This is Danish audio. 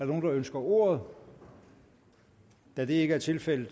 nogen der ønsker ordet da det ikke er tilfældet